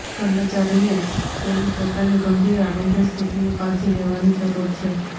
કર્મચારીને તેની પોતાની ગંભીર આરોગ્ય સ્થિતિની કાળજી લેવાની જરૂર છે